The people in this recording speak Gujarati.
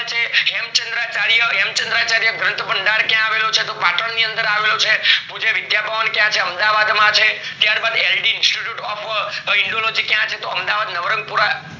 છે હેમ્ચાન્દ્રચારીય હેમચંદ્ર ગ્રંથ ભંડાર ક્યાં આવેલો છે તો પાટણ ની અંદર આવેલું છે પૂછે વિદ્યા ભવન ક્યાં છે અમદાવાદ માં છે ત્યાર બાદ આઈડી institution of indology ક્યાં છે તો અમદાવાદ નવરંગ પુરા.